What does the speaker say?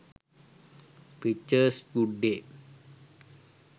pictures good day